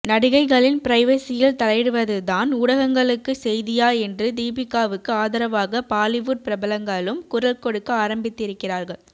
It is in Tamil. நடிகைகளின் பிரைவசியில் தலையிடுவதுதான் ஊடகங்களுக்கு செய்தியா என்று தீபிகாவுக்கு ஆதரவாக பாலிவுட் பிரபலங்களும் குரல் கொடுக்க ஆரம்பித்திருக்கிறார்கள்